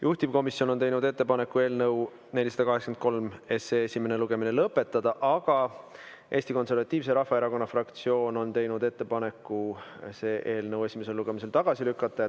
Juhtivkomisjon on teinud ettepaneku eelnõu 483 esimene lugemine lõpetada, aga Eesti Konservatiivse Rahvaerakonna fraktsioon on teinud ettepaneku see eelnõu esimesel lugemisel tagasi lükata.